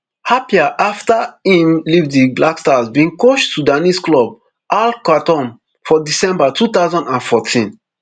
appiah afta im leave di black stars bin coach sudanese club al khartoum for december two thousand and fourteen